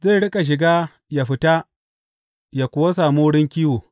Zai riƙa shiga yă fita yă kuwa sami wurin kiwo.